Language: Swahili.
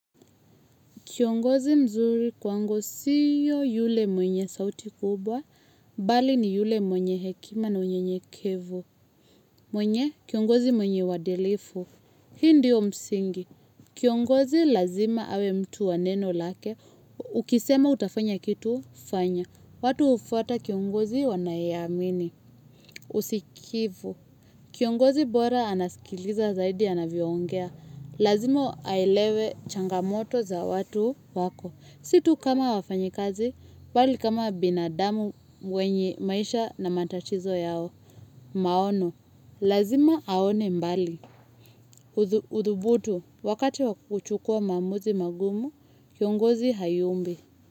Kiongozi mzuri kwangu siyo yule mwenye sauti kubwa, bali ni yule mwenye hekima na unyenyekevu. Mwenye, kiongozi mwenye wadilifu. Hii ndiyo msingi. Kiongozi lazima awe mtu wa neno lake. Ukisema utafanya kitu, fanya. Watu ufata kiongozi wanayamini. Usikivu. Kiongozi bora anaskiliza zaidi anaviongea. Lazima aelewe changamoto za watu wako. Situ kama wafanyikazi, bali kama binadamu wenye maisha na matatizo yao. Maono, lazima haone mbali. Uthubutu, wakati wakuchukua mamuzi magumu, kiongozi hayumbi.